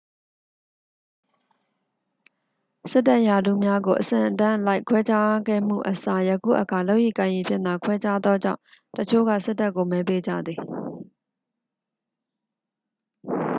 စစ်တပ်ရာထူးများကို အဆင့်အတန်းအလိုက် ခွဲခြားခဲ့မှုအစား ယခုအခါ လုပ်ရည်ကိုင်ရည်ဖြင့်သာ ခွဲခြားသောကြောင့် တစ်ချို့က စစ်တပ်ကို မဲပေးကြသည်